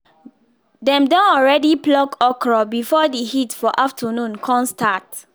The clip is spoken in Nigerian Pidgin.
dem don already pluck okra before the heat for afternoon con start